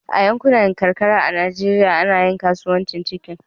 a yankunan karkara a Najeriya ana yin kasuwanni cikin